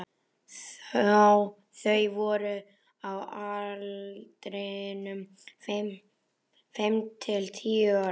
Þau voru á aldrinum fimm til tíu ára.